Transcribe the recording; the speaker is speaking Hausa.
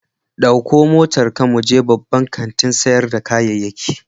Ɗauko motarka mu je babban kantin sayar da kayayyaki.